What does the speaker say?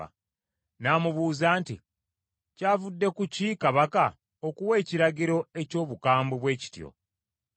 n’amubuuza nti, “Kyavudde ku ki kabaka okuwa ekiragiro eky’obukambwe bwe kityo?” Aliyooki n’annyonnyola Danyeri ensonga eyavaako ekyo.